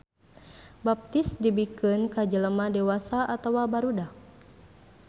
Baptis dibikeun ka jelema dewasa atawa barudak.